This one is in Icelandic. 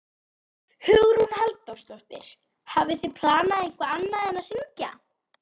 Hugrún Halldórsdóttir: Hafið þið planað eitthvað annað en að syngja?